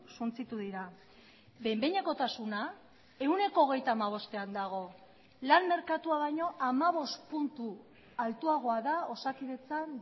suntsitu dira behin behinekotasuna ehuneko hogeita hamabostean dago lan merkatua baino hamabost puntu altuagoa da osakidetzan